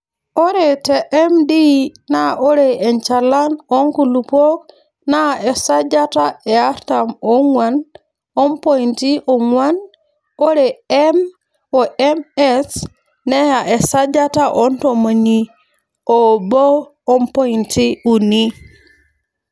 Ore te MD naa ore enchalan oo nkulupuok naa esajata e artam oong'wan o mpointi oong'wan ore M o MS neya esajata o ntomoniuni oobo ompointi uni.